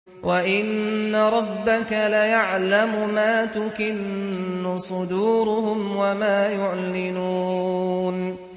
وَإِنَّ رَبَّكَ لَيَعْلَمُ مَا تُكِنُّ صُدُورُهُمْ وَمَا يُعْلِنُونَ